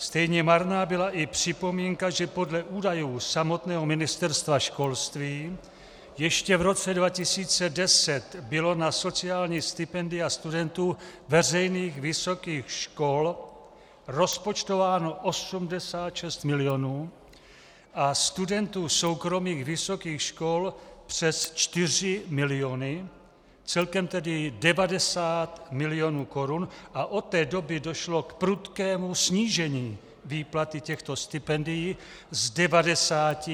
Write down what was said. Stejně marná byla i připomínka, že podle údajů samotného Ministerstva školství ještě v roce 2010 bylo na sociální stipendia studentů veřejných vysokých škol rozpočtováno 86 milionů a studentů soukromých vysokých škol přes 4 miliony, celkem tedy 90 milionů korun, a od té doby došlo k prudkému snížení výplaty těchto stipendií z 90